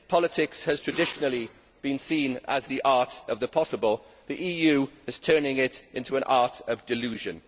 If politics has traditionally been seen as the art of the possible, the EU is turning it into an art of delusion.